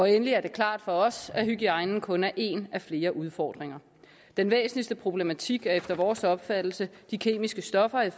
endelig er det klart for os at hygiejnen kun er en af flere udfordringer den væsentligste problematik er efter vores opfattelse de kemiske stoffer i